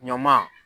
Ɲaman